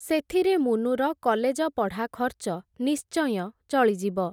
ସେଥିରେ ମୁନୁର କଲେଜପଢ଼ା ଖର୍ଚ୍ଚ ନିଶ୍ଚୟଁ ଚଳିଯିବ ।